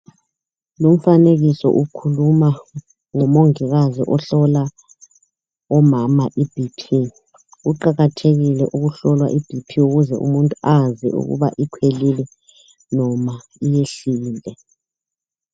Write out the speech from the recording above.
Lumfanekiso ukhuluma ngomongikazi ihlolwa umama iBP, kuqakathekile ukuhlola ibp ukuze umuntu azi ukuba ikhwelile noma iyehlile.